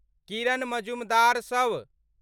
किरण मजुमदार शव